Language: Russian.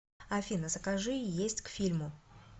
афина закажи есть к фильму